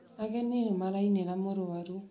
Ageni nĩ maraĩnira mũrũaru